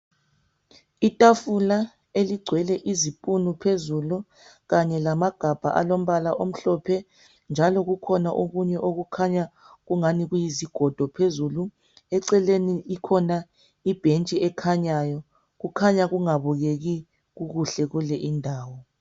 Itafula eligcwele izipunu phezulu, kanye lamagabha alombala omhlophe, njalo kukhona okunye okukhanya kungani kuyizigodo. Eceleni likhona ibhentshi elikhanyayo. Akubukeki kuhle kule indawo.